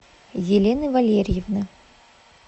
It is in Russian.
елены валерьевны